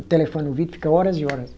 O telefone no ouvido fica horas e horas.